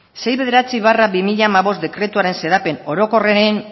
hirurogeita bederatzi barra bi mila hamabost dekretuaren xedapen orokorren